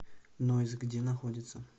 ноис где находится